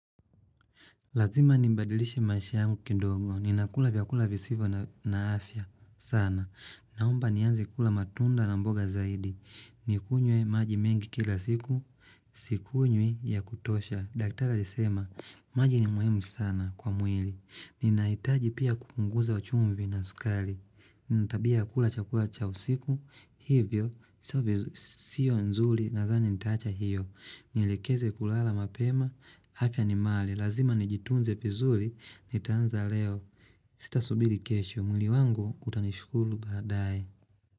Lazima nibadilishe maisha yangu kidogo. Ninakula vyakula visivyo na afya sana. Naomba nianze kula matunda na mboga zaidi. Nikunywe maji mengi kila siku. Sikunywi ya kutosha. Daktaraa lisema, maji ni muhimu sana kwa mwili. Ninahitaji pia kupunguza chumvi na sukari. Ninatabia ya kula chakula cha usiku. Hivyo, sio nzuri nadhani nitaacha hiyo. Nielekeze kulala mapema afya ni mali. Lazima nijitunze vizuri nitaanza leo. Sitasubiri kesho. Mwili wangu utanishukuru baadae.